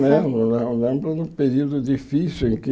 Menos mais ou menos, um período difícil em que